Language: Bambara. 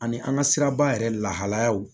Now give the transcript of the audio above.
Ani an ka siraba yɛrɛ lahalayaw